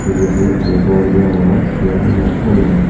jedeye ekkan gor deongor jian hina tonor.